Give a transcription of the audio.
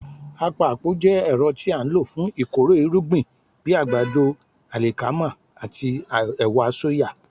Àpapọ̀ jẹ́ ẹ̀rọ tí a ń lò fún ìkórè irúgbìn bíi àgbàdo, àlìkámà àti àwọn ẹ̀wà sóyà.